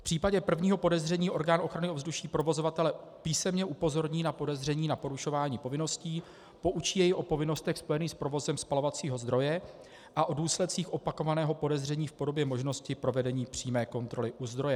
V případě prvního podezření orgánu ochrany ovzduší provozovatele písemně upozorní na podezření na porušování povinností, poučí jej o povinnostech spojených s provozem spalovacího zdroje a o důsledcích opakovaného podezření v podobě možnosti provedení přímé kontroly u zdroje.